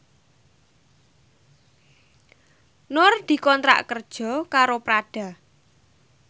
Nur dikontrak kerja karo Prada